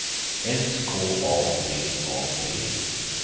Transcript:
S K A D A D